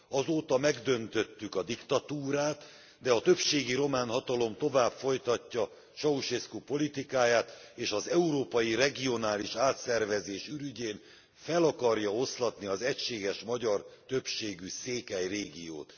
Azóta megdöntöttük a diktatúrát, de a többségi román hatalom tovább folytatja Ceausescu politikáját, és az európai regionális átszervezés ürügyén fel akarja oszlatni az egységes magyar többségű székely régiót.